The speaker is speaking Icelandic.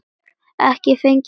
Ekki fengið þá blöndu áður.